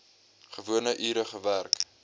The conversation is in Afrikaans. gewone ure gewerk